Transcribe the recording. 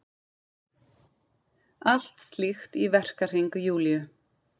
Allt slíkt í verkahring Júlíu.